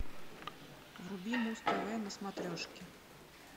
вруби муз тв на смотрешке